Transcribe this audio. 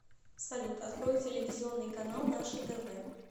салют открой телевизионный канал наше тв